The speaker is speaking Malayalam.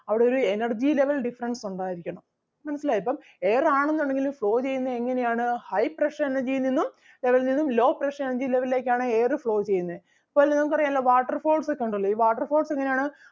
അവിടെ ഒരു energy level difference ഉണ്ടായിരിക്കണം മനസ്സിലായോ ഇപ്പം air ആണെന്നുണ്ടെങ്കിൽ flow ചെയ്യുന്നത് എങ്ങനെ ആണ് high pressure energy യിൽ നിന്നും level ൽ നിന്നും low pressure energy level ലേക്ക് ആണ് air flow ചെയ്യുന്നേ. ഇപ്പൊ അല്ലേ നമുക്ക് അറിയാലോ ഈ water falls ഒക്കെ ഒണ്ടല്ലോ ഈ water falls എങ്ങനെ ആണ്